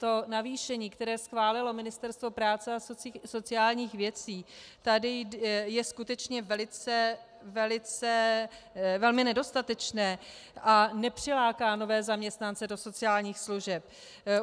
To navýšení, které schválilo Ministerstvo práce a sociálních věcí, tady je skutečně velmi nedostatečné a nepřiláká nové zaměstnance do sociálních služeb.